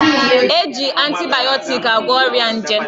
A ga-eji antibayọtiki agwọ ọrịa nje